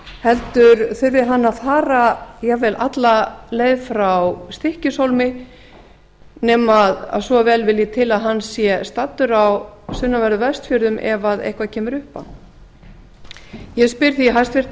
heldur þurfi hann að fara jafnvel alla leið frá stykkishólmi nema svo vel vilji til að hann sé staddur á sunnanverðum vestfjörðum ef eitthvað kemur upp á ég spyr því hæstvirtur